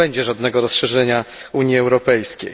już nie będzie żadnego rozszerzenia Unii Europejskiej.